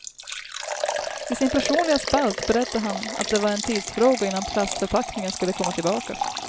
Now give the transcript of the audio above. I sin personliga spalt berättade han att det var en tidsfråga innan plastförpackningen skulle komma tillbaka.